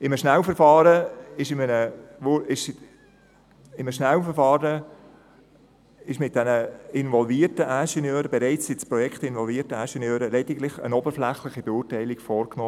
In einem Schnellverfahren wurde mit den bereits ins Projekt involvierten Ingenieuren lediglich eine oberflächliche Beurteilung vorgenommen.